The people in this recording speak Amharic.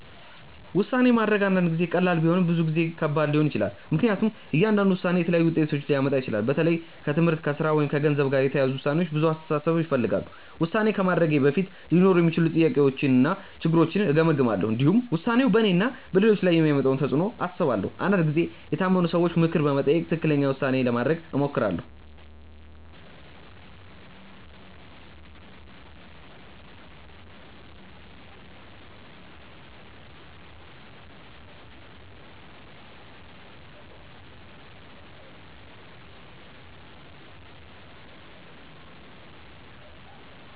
ውሳኔ ማድረግ አንዳንድ ጊዜ ቀላል ቢሆንም ብዙ ጊዜ ከባድ ሊሆን ይችላል። ምክንያቱም እያንዳንዱ ውሳኔ የተለያዩ ውጤቶችን ሊያመጣ ይችላል። በተለይ ከትምህርት፣ ከሥራ ወይም ከገንዘብ ጋር የተያያዙ ውሳኔዎች ብዙ አስተሳሰብ ይፈልጋሉ። ውሳኔ ከማድረጌ በፊት ሊኖሩ የሚችሉ ጥቅሞችንና ችግሮችን እገመግማለሁ። እንዲሁም ውሳኔው በእኔና በሌሎች ላይ የሚያመጣውን ተፅዕኖ አስባለሁ። አንዳንድ ጊዜ የታመኑ ሰዎችን ምክር በመጠየቅ ትክክለኛ ውሳኔ ለማድረግ እሞክራለሁ.